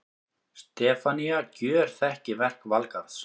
Stefanía gjörþekki verk Valgarðs.